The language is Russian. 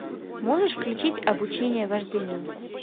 можешь включить обучение вождению